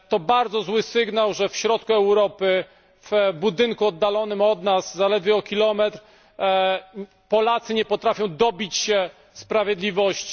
To bardzo zły sygnał, że w środku Europy, w budynku oddalonym od nas zaledwie o kilometr, Polacy nie potrafią dobić się sprawiedliwości.